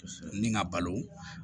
Ni n ka balo